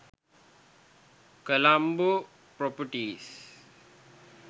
colombo properties